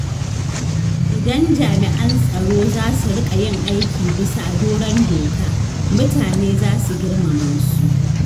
Idan jami'an tsaro zasu riƙa yin aiki bisa doron doka, mutane za su girmama su.